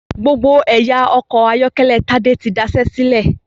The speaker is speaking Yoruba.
Gbogbo ẹ̀yà ọkọ̀ ayọ́kẹ́lẹ́ Tádé tí daṣé sílẹ̀.